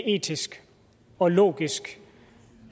etisk og logisk